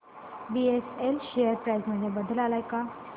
BSL share price मध्ये बदल आलाय का